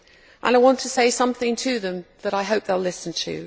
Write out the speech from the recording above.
I want to say something to them that I hope they will listen to.